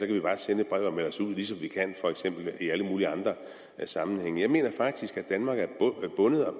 vi bare sende et brev og melde os ud ligesom vi for eksempel kan i alle mulige andre sammenhænge jeg mener faktisk at danmark er